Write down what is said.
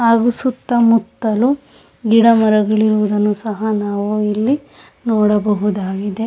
ಹಾಗು ಸುತ್ತ ಮುತ್ತಲು ಗಿಡ ಮರ ಗಳಿರುವುದನ್ನು ನಾವು ನೋಡಬಹುದಾಗಿದೆ.